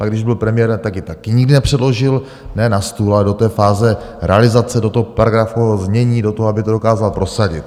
Pak když byl premiér, tak ji také nikdy nepředložil, ne na stůl, ale do té fáze realizace, do toho paragrafového znění, do toho, aby to dokázal prosadit.